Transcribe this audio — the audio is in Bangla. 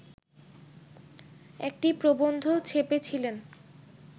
একটি প্রবন্ধ ছেপেছিলেন